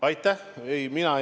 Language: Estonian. Aitäh!